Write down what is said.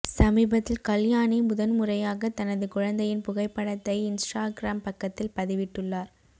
சமீபத்தில் கல்யாணி முதன் முறையாக தனது குழந்தையின் புகைப்படத்தை இன்ஸ்டாகிராம் பக்கத்தில் பதிவிட்டுள்ளார்